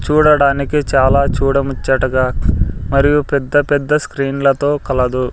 చూడడానికి చాలా చూడముచ్చటగా మరియు పెద్ద పెద్ద స్క్రీన్ లతో కలదు.